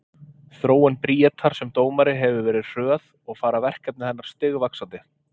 Þróun Bríetar sem dómari hefur verið hröð og fara verkefni hennar stigvaxandi.